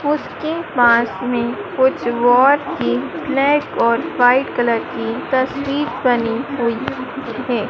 उसके पास में कुछ और ही ब्लैक और वाइट कलर की तस्वीर बनी हुई है।